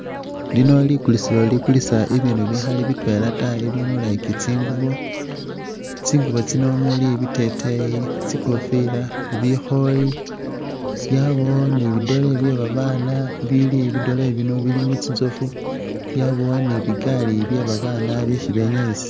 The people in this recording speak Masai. Lino likulisilo likulisa bibindu bikhali bitwela ta bibindu like tsingubo, tsingubo tsino muli biteteyi, tsikofila, bikhooyi yabawo ni bidole bye babaana bili bidole bino bili mu tsintsoofu yabawo ni bigaali bye babaana bisi benyayisa.